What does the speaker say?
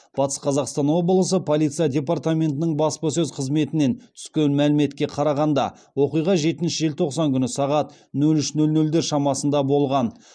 батыс қазақстан облысы полиция департаментінің баспасөз қызметінен түскен мәліметке қарағанда оқиға жетінші желтоқсан күні сағат нөл үш нөл нөлдер шамасында болған